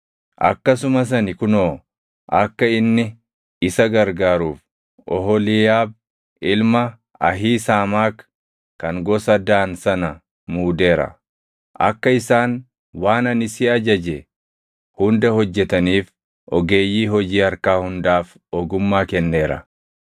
Akkasumas ani kunoo akka inni isa gargaaruuf Oholiiyaab ilma Ahiisaamaak kan gosa Daan sana muudeera. “Akka isaan waan ani si ajaje hunda hojjetaniif ogeeyyii hojii harkaa hundaaf ogummaa kenneera.